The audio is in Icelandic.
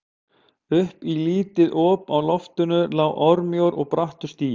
Upp í lítið op á loftinu lá örmjór og brattur stigi.